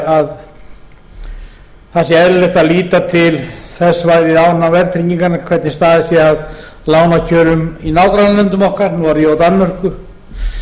það sé eðlilegt að líta til þess verðtryggingarinnar hvernig staðið sé að lánakjörum í nágrannalöndum okkar noregi og danmörku